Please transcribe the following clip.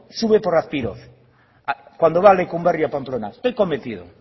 sube por azpiroz cuando va a lekunberri o a pamplona estoy convencido